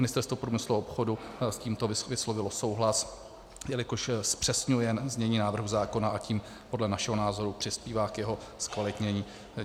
Ministerstvo průmyslu a obchodu s tímto vyslovilo souhlas, jelikož zpřesňuje znění návrhu zákona, a tím podle našeho názoru přispívá k jeho zkvalitnění.